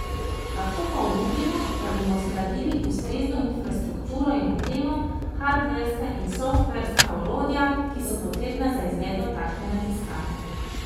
Lahko pa obljubimo, da bomo zgradili ustrezno infrastrukturo in opremo, hardverska in softverska orodja, ki so potrebna za izvedbo takšne raziskave.